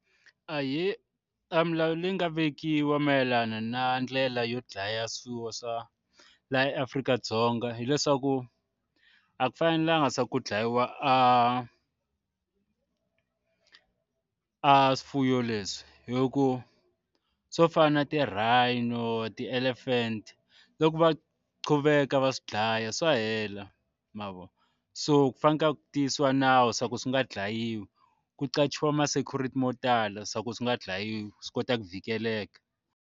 Ahee, a milawu leyi nga vekiwa mayelana na ndlela yo dlaya swifuwo swa laha Afrika-Dzonga hileswaku a ku fanelanga se ku dlayiwa a a swifuwo leswi hi ku swo fana na ti-rhino ti-elephant loko va quveka va swi dlaya swa hela mavona so ku fanekele ku tiyisiwa nawu swa ku swi nga dlayiwi ku qachiwa ma-security mo tala swa ku swi nga dlayiwi swi kota ku vhikeleleka.